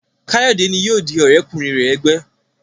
Kayode ní yóò dì òré kùnrin rẹ ègbé.